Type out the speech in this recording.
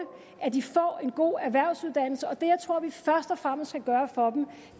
at de får en god erhvervsuddannelse det jeg tror vi først og fremmest skal gøre for dem